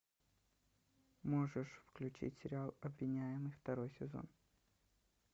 можешь включить сериал обвиняемый второй сезон